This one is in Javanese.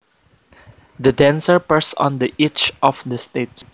The dancer perched on the edge of the stage